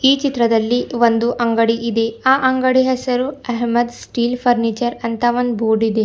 ಈ ಚಿತ್ರದಲ್ಲಿ ಒಂದು ಅಂಗಡಿ ಇದೆ ಆ ಅಂಗಡಿಯ ಹೆಸರು ಅಹೇಮದ್ ಸ್ಟೀಲ್ ಫರ್ನೀಚರ್ ಅಂತಾ ಒಂದ್ ಬೋರ್ಡು ಇದೆ.